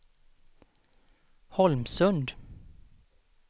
Holmsund